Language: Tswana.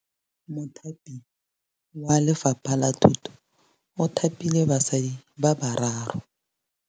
Mothapi wa Lefapha la Thutô o thapile basadi ba ba raro.